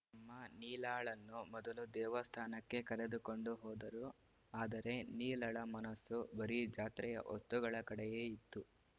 ಅಮ್ಮ ನೀಲಾಳನ್ನು ಮೊದಲು ದೇವಸ್ಥಾನಕ್ಕೆ ಕರೆದುಕೊಂಡು ಹೋದರು ಆದರೆ ನೀಲಳ ಮನಸ್ಸು ಬರೀ ಜಾತ್ರೆಯ ವಸ್ತುಗಳ ಕಡೆಯೇ ಇತ್ತು